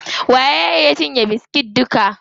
Waye ya cinye biskit duka?